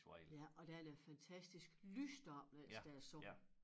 Ja og der er der fantastisk lys deroppe mens der er sol